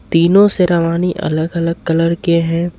तीनों शेरवानी अलग अलग कलर के हैं।